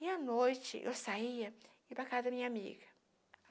E, à noite, eu saía e ia para a casa da minha amiga.